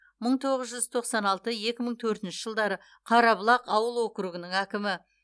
мың тоғыз жүз тоқсан алты екі мың төртінші жылдары қарабұлақ ауыл округінің әкімі